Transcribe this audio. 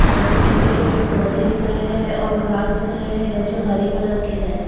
और कुछ छोटे-छोटे पौधे दिख रहे हैं और घास दिख रहे हैं जो हरे कलर के हैं।